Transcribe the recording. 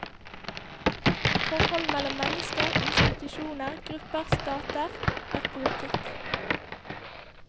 Forhold mellom mennesker, institusjoner, grupper, stater, er politikk.